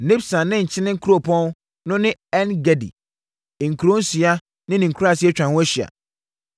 Nibsan ne Nkyene kuropɔn no ne En-Gedi, nkuro nsia ne ne nkuraaseɛ atwa ho ahyia.